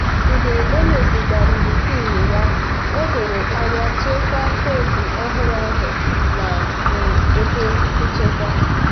mgbe o mezigharịrị pin ya o doro anya chekwaa koodu ọhụrụ ahụ na um ebe nchekwa.